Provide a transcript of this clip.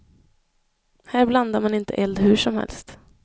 Här blandar man inte eld hur som helst.